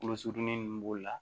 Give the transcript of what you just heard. Kolo surunnin nunnu b'o la